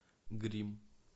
гримм